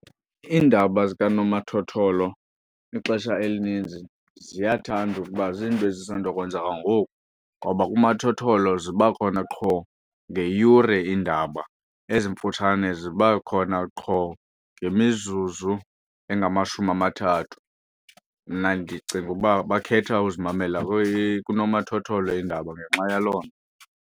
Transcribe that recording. Iindaba zikanomathotholo ixesha elininzi ziyathanda ukuba zinto ezisandokwenzeka ngoku ngoba kunomathotholo ziba khona qho ngeyure iindaba, ezimfutshane ziba khona qho ngemizuzu engamashumi amathathu. Mna ndicinga uba bakhetha uzimamela kunomathotholo iindaba ngenxa yaloo nto.